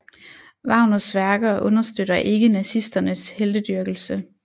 Wagners værker understøtter ikke nazisternes heltedyrkelse